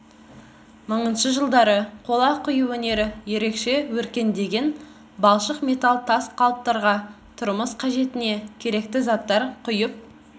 мыңыншы жылдары қола құю өнері ерекше өркендеген балшық металл тас қалыптарға тұрмыс қажетіне керекті заттар құйып